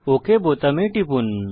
okay বোতামে টিপুন